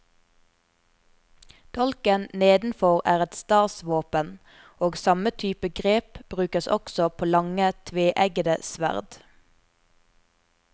Dolken nedenfor er et stasvåpen, og samme type grep brukes også på lange, tveeggede sverd.